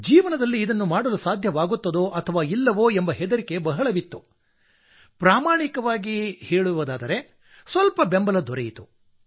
ಜೀವನದಲ್ಲಿ ಇದನ್ನು ಮಾಡಲು ಸಾಧ್ಯವಾಗುತ್ತದೋ ಅಥವಾ ಇಲ್ಲವೋ ಎಂಬ ಹೆದರಿಕೆ ಬಹಳವಿತ್ತು ಆದರೆ ಸ್ವಲ್ಪ ಬೆಂಬಲ ದೊರೆತಿತ್ತು